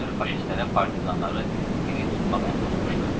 Görünür faşistlərə partizanları diri tutmaq əmr olunmuşdu.